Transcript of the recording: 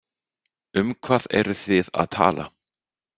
Um hvað eruð þið að tala?